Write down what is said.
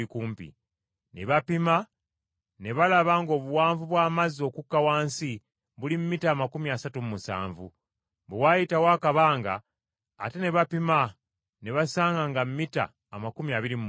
Ne bapima ne balaba ng’obuwanvu bw’amazzi okukka wansi buli mita amakumi asatu mu musanvu. Bwe waayitawo akabanga ate ne bapima ne basanga nga mita amakumi abiri mu musanvu.